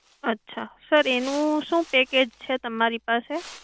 અચ્છા. sir એનું શું package છે તમારી પાસે?